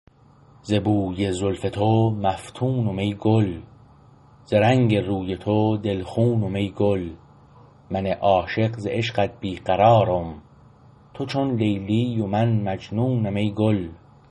ز بوی زلف تو مفتونم ای گل ز رنگ روی تو دلخونم ای گل من عاشق ز عشقت بی قرار م تو چون لیلی و من مجنونم ای گل